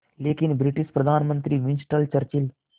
लेकिन ब्रिटिश प्रधानमंत्री Winston Churchill